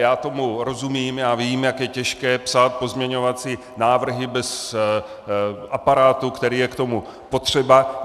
Já tomu rozumím, já vím, jak je těžké psát pozměňovací návrhy bez aparátu, který je k tomu potřeba.